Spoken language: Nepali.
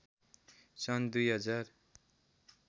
सन् २०००